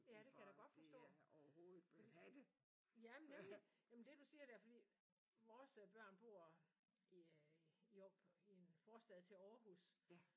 Ja det kan jeg da godt forstå fordi ja men nemlig. Ja men det du siger der fordi vores børn bor i en forstad til Aarhus